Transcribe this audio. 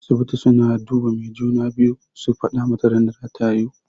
Asibiti suna duba mai juna-biyu su faɗa mata ranar da zata haihu.